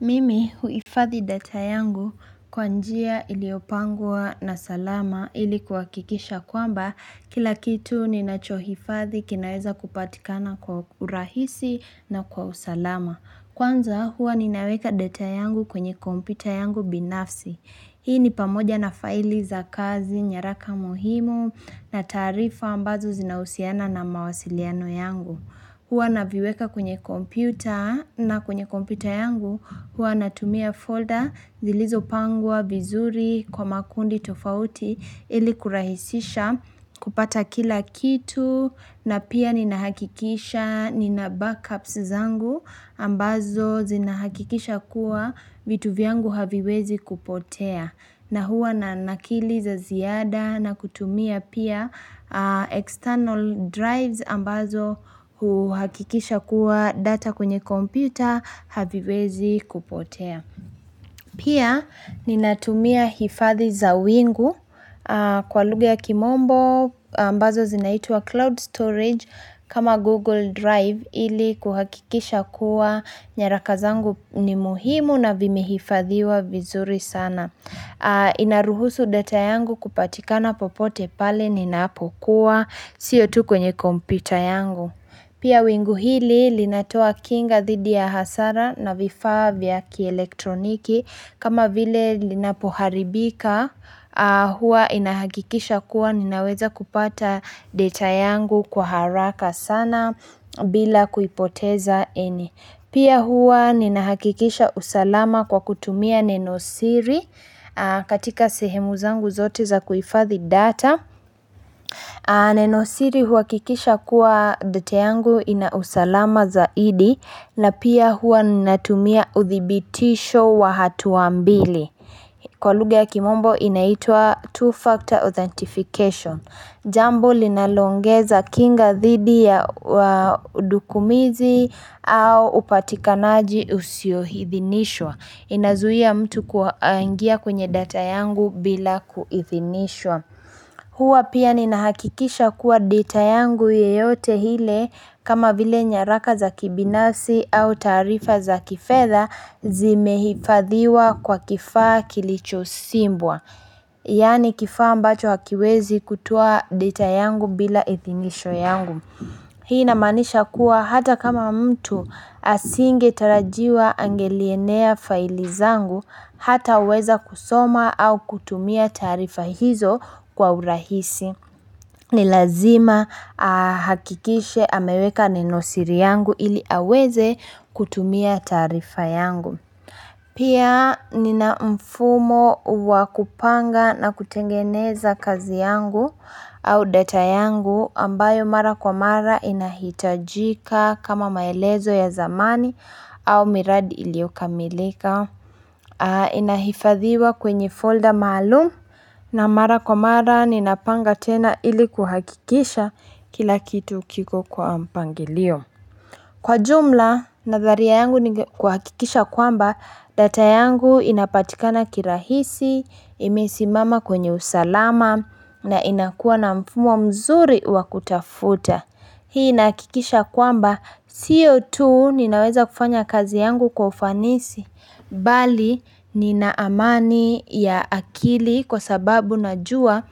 Mimi huifadhi data yangu kwa njia iliyopangwa na salama ili kwa kuhakisha kwamba kila kitu ninacho hifadhi kinaweza kupatikana kwa urahisi na kwa usalama. Kwanza huwa ninaweka data yangu kwenye kompyuta yangu binafsi. Hii ni pamoja na faili za kazi, nyaraka mohimu na tarifa ambazo zinausiana na mawasiliano yangu. Huwa na viweka kwenye computer na kwenye computer yangu huwa natumia folder zilizopangwa vizuri kwa makundi tofauti ili kurahisisha kupata kila kitu na pia ninahakikisha nina backups zangu ambazo zinahakikisha kuwa vitu vyangu haviwezi kupotea. Na huwa na nakili za ziada na kutumia pia external drives ambazo huhakikisha kuwa data kwenye computer haviwezi kupotea. Pia ninatumia hifadhi za wingu kwa lugha kimombo ambazo zinaitwa cloud storage kama google drive ili kuhakikisha kuwa nyaraka zangu ni muhimu na vimehifadhiwa vizuri sana. Inaruhusu data yangu kupatikana popote pale ninapokuwa, siyo tu kwenye computer yangu. Pia wingu hili linatoa kinga thidi ya hasara na vifaa vya ki electroniki. Kama vile linapoharibika, hua inahakikisha kuwa ninaweza kupata data yangu kwa haraka sana bila kuipoteza any. Pia huwa ninahakikisha usalama kwa kutumia nenosiri katika sehemu zangu zote za kuifadhi data. Nenosiri huakikisha kuwa data yangu inausalama zaidi na pia huwa ninatumia uthibitisho wa hatuambili. Kwa lughaa ya kimombo inaitua two-factor authentication. Jambo linalongeza kinga thidi ya wadukumizi au upatikanaji usio hithinishwa. Inazuia mtu kuangia kwenye data yangu bila ku ithinishwa. Huwa pia ninahakikisha kuwa data yangu yeyote hile kama vile nyaraka za kibinasi au tarifa za kifedha zimehifadhiwa kwa kifaa kilicho simbwa Yani kifaa ambacho hakiwezi kutoa deta yangu bila ithimisho yangu Hii namanisha kuwa hata kama mtu asinge tarajiwa angelienea faili zangu hata uweza kusoma au kutumia tarifa hizo kwa urahisi ni lazima hakikishe ameweka ninosiri yangu ili aweze kutumia tarifa yangu Pia nina mfumo wakupanga na kutengeneza kazi yangu au data yangu ambayo mara kwa mara inahitajika kama maelezo ya zamani au miradi iliokamilika Inahifadhiwa kwenye folder maalum na mara kwa mara ninapanga tena ili kuhakikisha kila kitu kiko kwa mpangilio Kwa jumla, nadharia yangu ni kuhakikisha kwamba data yangu inapatika na kirahisi, imesimama kwenye usalama na inakuwa na mfumo mzuri wa kutafuta Hii nakikisha kwamba sio tu ninaweza kufanya kazi yangu kwa ufanisi, bali nina amani ya akili kwa sababu najua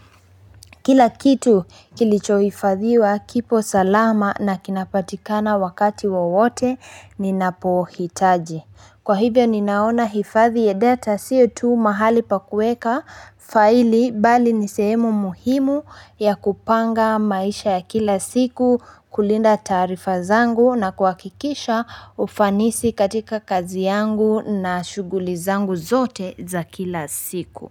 kila kitu kilichoifadhiwa kipo salama na kinapatikana wakati wawote ninapohitaji. Kwa hivyo ninaona hifadhi ya data sio tu mahali pa kueka faili bali nisehemu muhimu ya kupanga maisha ya kila siku kulinda tarifa zangu na kwa kuhakikisha ufanisi katika kazi yangu na shughuli zangu zote za kila siku.